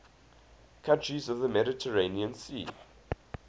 countries of the mediterranean sea